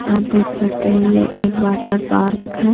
आप देख सकते हैं यह एक वाटर पार्क है।